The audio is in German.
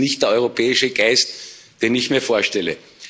Das ist nicht der europäische Geist, den ich mir vorstelle.